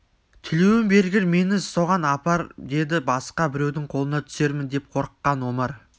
тілеуің бергір мені соған апар деді басқа біреудің қолына түсермін деп қорыққан омар